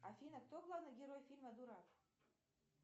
афина кто главный герой фильма дурак